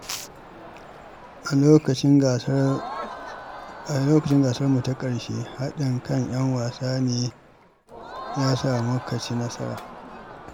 A lokacin gasarmu ta ƙarshe, haɗin kan ‘yan wasa ne ya sa muka ci nasara.